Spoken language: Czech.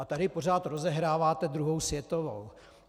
A tady pořád rozehráváte druhou světovou.